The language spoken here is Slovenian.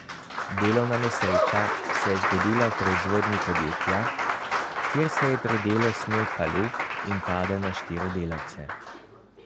Delovna nesreča se je zgodila v proizvodnji podjetja, kjer se je pri delu snel kalup in padel na štiri delavce.